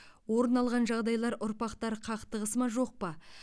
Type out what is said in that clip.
орын алған жағдайлар ұрпақтар қақтығысы ма жоқ па